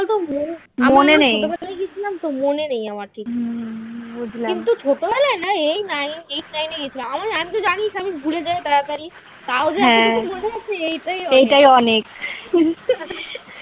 মনে নেই আমার কিন্তু ছোটবেলায় না এই eight nine এ গেছিলাম আমার তো জানিস আমি ভুলে যাই তাড়াতাড়ি তাও যে এতটুকু মনে আছে এইটাই অনেক